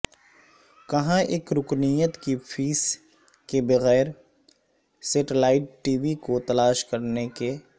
کہاں ایک رکنیت کی فیس کے بغیر سیٹلائٹ ٹی وی کو تلاش کرنے کے